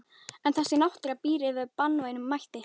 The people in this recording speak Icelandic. En þessi náttúra býr yfir banvænum mætti.